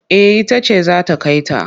Eh ita ce za ta kai ta.